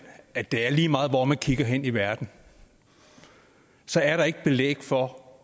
at det er lige meget hvor man kigger hen i verden så er der ikke belæg for